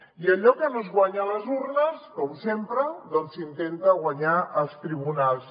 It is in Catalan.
i allò que no es guanya a les urnes com sempre doncs s’intenta guanyar als tribunals